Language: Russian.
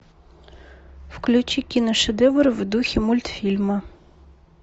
включи киношедевр в духе мультфильма